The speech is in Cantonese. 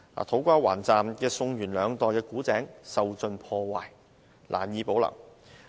土瓜灣站宋元兩代的古井受盡破壞，難以保留。